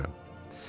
İstəmirəm.